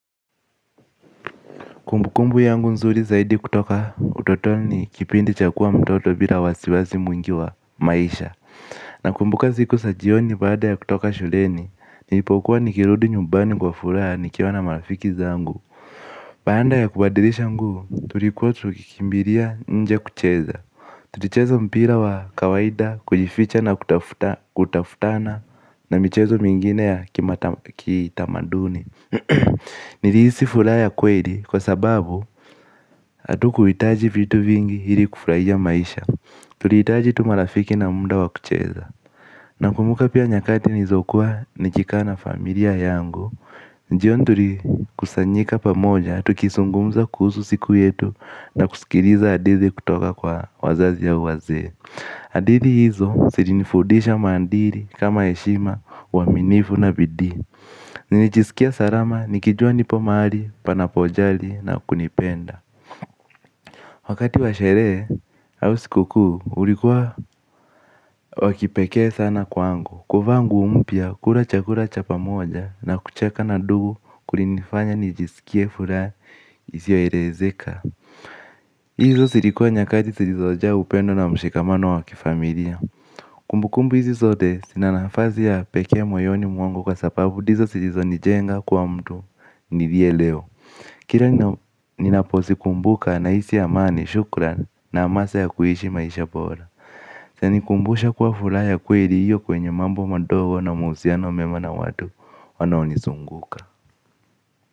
Kumbukumbu yangu nzuri zaidi kutoka utotoni ni kipindi cha kukua mtoto bila wasiwasi mwingi wa maisha. Nakumbuka siku za jioni baada ya kutoka shuleni. Nilipokuwa nikirudi nyumbani kwa furaha nikiona marafiki zangu. Baada ya kubadilisha nguo tulikuwa tukikimbilia nje kucheza. Tulicheza mpira wa kawaida kujificha na kutafutana na mchezo mingine ya kitamaduni. Niliisi furaha ya kweli kwa sababu hatukuhitaji vitu vingi ili kufurahia maisha. Tulihitaji tu marafiki na muda wa kucheza. Nakumbuka pia nyakati nilizokuwa nikikaa na familia yangu jioni tulikusanyika pamoja tukizungumza kuhusu siku yetu. Na kusikiliza hadithi kutoka kwa wazazi au wazee hadithi hizo zilinifundisha maadili kama heshima uaminifu na bidii. Nilijisikia salama nikijua nipo mahali, panapojali na kunipenda. Wakati wa sherehe, au siku kuu, ulikuwa wa kipekee sana kwangu. Kuvaa nguo mpya, kula chakula cha pamoja na kucheka na ndugu kulinfanya nijisikie furaha isio elezeka. Izo zilikuwa nyakati zilizojaa upendo na mshikamano wa kifamilia. Kumbukumbu hizi zote, zina nafasi ya pekee moyoni mwangu kwa sababu ndizo zilizonijenga kuwa mtu, niliye leo. Kila ninapozikumbuka nahisi amani, shukran na hamasa ya kuishi maisha bora. Yanikumbusha kwa furaha ya kweli iliyo kwenye mambo mdogo na muhusiano mema na watu, wanaonizunguka.